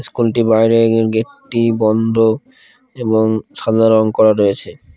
স্কুলটি বাইরে গেটটি বন্ধ এবং সাদা রং করা রয়েছে ।